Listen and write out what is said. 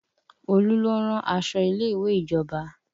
Olu ló ń rán aṣọ ilé ìwé ìjọba